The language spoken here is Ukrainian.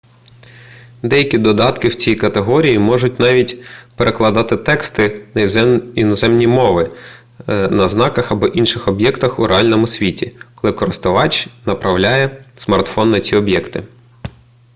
деякі додатки в цій категорії можуть навіть перекладати тексти на іноземні мови на знаках або інших об'єктах у реальному світі коли користувач направляє смартфон на ці об'єкти